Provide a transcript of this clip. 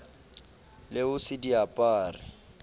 le ho se di apare